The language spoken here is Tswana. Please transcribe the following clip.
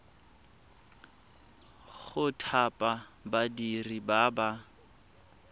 go thapa badiri ba ba